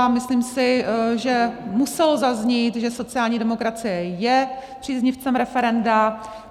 A myslím si, že muselo zaznít, že sociální demokracie je příznivcem referenda.